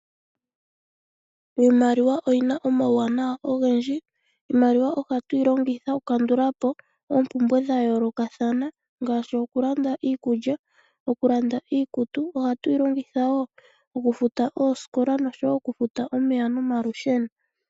Iimaliwa oyina omauwanawa ogendji. Iimaliwa ohatu yi longitha okukandula po oompumbwe dha yoolokathana ngaashi okulanda iikulya, okulanda iikutu .Ohatu yi longitha wo okufuta oosikola nosho wo okufuta omeya nomalusheno.